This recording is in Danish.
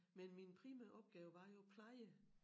Men min primære opgave var jo pleje